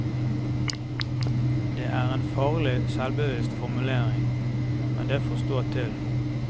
Det er en farlig selvbevisst formulering, men det får stå til.